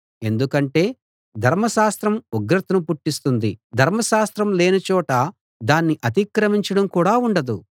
ఎందుకంటే ధర్మశాస్త్రం ఉగ్రతను పుట్టిస్తుంది ధర్మశాస్త్రం లేని చోట దాన్ని అతిక్రమించడం కూడా ఉండదు